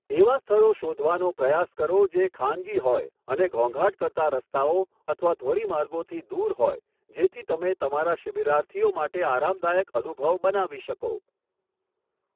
એવા સ્થળો શોધવાનો પ્રયાસ કરો જે ખાનગી હોય અને ઘોંઘાટ કરતા રસ્તાઓ અથવા ધોરીમાર્ગોથી દૂર હોય જેથી તમે તમારા શિબિરાર્થીઓ માટે આરામદાયક અનુભવ બનાવી શકો.